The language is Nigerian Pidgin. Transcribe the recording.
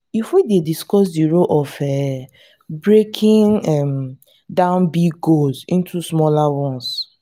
you fit discuss di role of um breaking um down big goals into smaller ones.